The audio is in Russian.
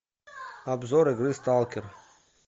обзор игры сталкер